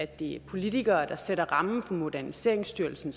det er politikere der sætter rammen for moderniseringsstyrelsen